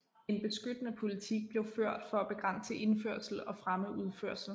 En beskyttende politik blev ført for at begrænse indførsel og fremme udførsel